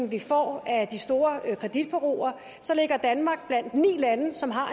vi får af de store kreditbureauer så ligger danmark blandt ni lande som har